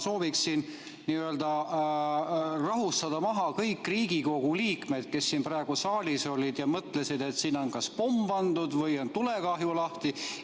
Ma sooviksin n-ö rahustada maha kõik Riigikogu liikmed, kes siin praegu saalis olid ja mõtlesid, et siin on kas pomm pandud või on tulekahju lahti.